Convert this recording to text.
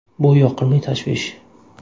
Bu yoqimli tashvish”.